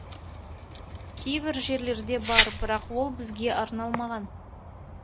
кейбір жерлерде бар бірақ ол бізге арналмаған